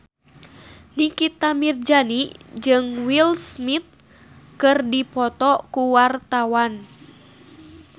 Nikita Mirzani jeung Will Smith keur dipoto ku wartawan